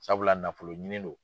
Sabula nafolo ɲini do.